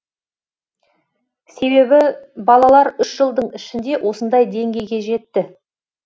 себебі балалар үш жылдың ішінде осындай деңгейге жетті